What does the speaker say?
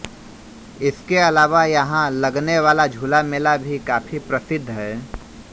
इसके अलावा यहां लगने वाला झूला मेला भी काफी प्रसिद्ध है